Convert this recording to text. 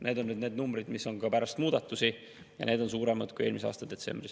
Need on need numbrid, mis on ka pärast muudatusi, ja need on suuremad kui eelmise aasta detsembris.